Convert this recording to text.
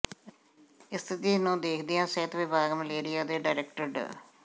ਸਥਿਤੀ ਨੂੰ ਦੇਖਦਿਆਂ ਸਿਹਤ ਵਿਭਾਗ ਮਲੇਰੀਆ ਦੇ ਡਾਇਰੈਕਟਰ ਡਾ